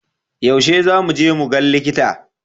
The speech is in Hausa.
Yaushe za mu je mu gan likita?